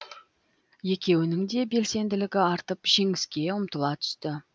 екеуінің де белсенділігі артып жеңіске ұмтыла түсті